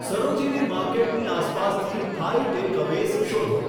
સરોજીની માર્કેટની આસપાસથી Thai takeaways શોધો